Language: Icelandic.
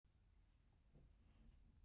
Þetta er svo fín lína.